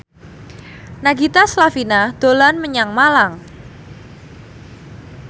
Nagita Slavina dolan menyang Malang